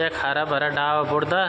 यख हरा भरा डाला बुर्दा ।